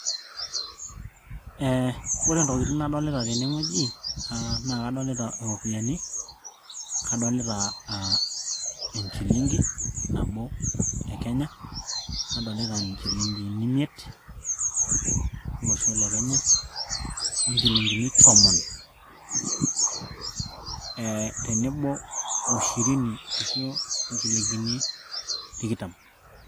ee ore intokitin nadolita tenewueji aa naa kadolita iropiyiani kadolita aa enchilingi nabo e kenya nadolita inchilingini imiet olosho le kenya o nchilingini tomon e tenebo o shirini ashu inchilingini tikitam.